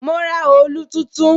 Mo ra òòlù tuntun.